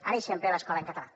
ara i sempre l’escola en català